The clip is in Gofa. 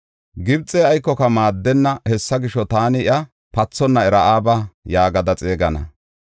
Gibxey aykoka maaddenna; hessa gisho, taani iya, “Pathonna Ra7aaba” yaagada xeegana.